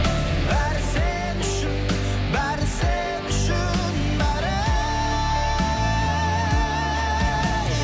бәрі сен үшін бәрі сен үшін бәрі ей